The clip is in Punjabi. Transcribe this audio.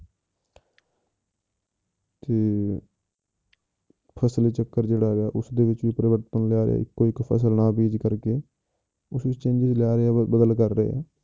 ਕਿ ਫਸਲੀ ਚੱਕਰ ਜਿਹੜਾ ਹੈਗਾ ਉਸਦੇ ਵਿੱਚ ਵੀ ਪਰਿਵਰਤਨ ਲਿਆਵੇ ਇੱਕੋ ਇੱਕ ਫਸਲ ਨਾ ਬੀਜ ਕਰਕੇ ਉਸ ਵਿੱਚ changes ਲਿਆ ਰਹੇ ਆ ਬਦਲ ਕਰ ਰਹੇ ਆ।